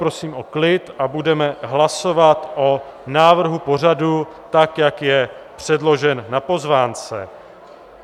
Prosím o klid a budeme hlasovat o návrhu pořadu tak, jak je předložen na pozvánce.